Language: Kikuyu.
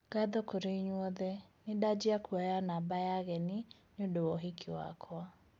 Ngatho kũrĩ inyuĩ othe, nĩndanjia kwoya namba ya ageni nĩũndũ wa ũhiki wakwa